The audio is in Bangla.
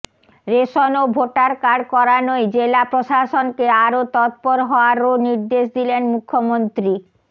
রেশন ও ভোটারকার্ড করানোয় জেলা প্রশাসনকে আরও তৎপর হওয়ারও নির্দেশ দিলেন মুখ্যমন্ত্রী